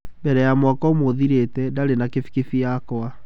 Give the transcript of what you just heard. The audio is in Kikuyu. Mbere ya mwaka ũmwe ũthirĩte, ndarĩ na kibikibi yakwa.